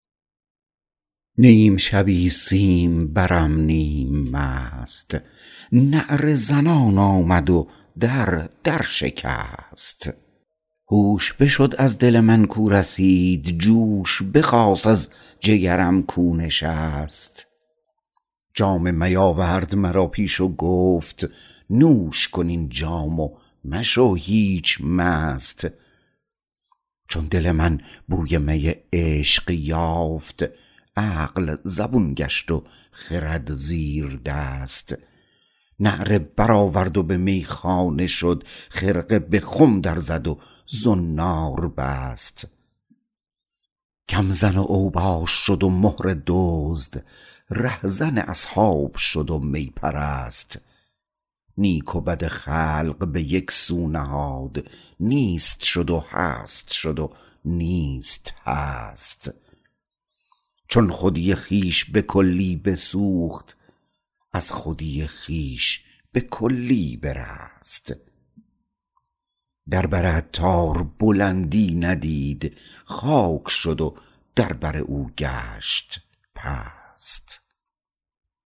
نیم شبی سیم برم نیم مست نعره زنان آمد و در در نشست هوش بشد از دل من کاو رسید جوش بخاست از جگرم کاو نشست جام می آورد مرا پیش و گفت نوش کن این جام و مشو هیچ مست چون دل من بوی می عشق یافت عقل زبون گشت و خرد زیر دست نعره برآورد و به میخانه شد خرقه به خم در زد و زنار بست کم زن و اوباش شد و مهره دزد ره زن اصحاب شد و می پرست نیک و بد خلق به یکسو نهاد نیست شد و هست شد و نیست هست چون خودی خویش به کلی بسوخت از خودی خویش به کلی برست در بر عطار بلندی ندید خاک شد و در بر او گشت پست